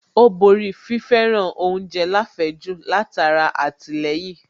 Ó borí fi fẹ́ràn oúnjẹ láfẹ̀ẹ́jù látara àtìlẹyìn